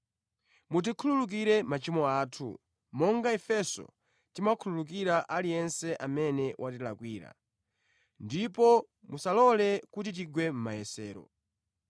mutikhululukire machimo athu, monga ifenso timakhululukira aliyense amene watilakwira. Ndipo musalole kuti tigwe mʼmayesero.’ ”